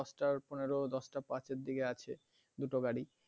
দশটা পড়েন দশটা পাঁচের দিকে আছে দুটো গাড়ি